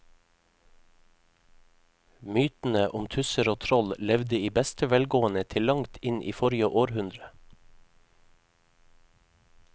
Mytene om tusser og troll levde i beste velgående til langt inn i forrige århundre.